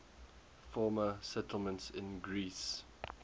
former settlements in greece